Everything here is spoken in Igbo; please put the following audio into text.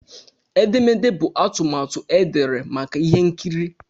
Edemede bụ atụmatụ edere maka ihe nkiri.